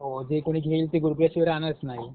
हो जे कोणी घेईल ते राहणारच नाही.